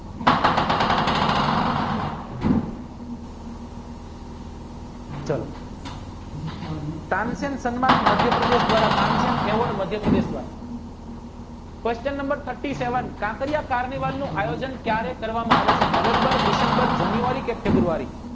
ચાલો તાનસેન માધ્ય પ્રદેશ દ્વારા તાનસેન esvorde મધ્યપ્રદેશય કાંકરિયા તારનીવાન નું આયોજન ક્યારે કરવામાં આવ્યું નવેમ્બર ડિસેમ્બર જાન્યુઆરી કે ફેબ્રુઆરી